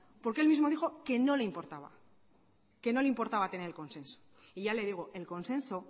porque él mismo dijo que no le importaba que no le importaba tener el consenso y ya le digo el consenso